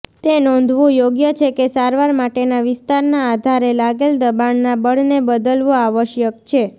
તે નોંધવું યોગ્ય છે કે સારવાર માટેના વિસ્તારના આધારે લાગેલ દબાણના બળને બદલવો આવશ્યક છે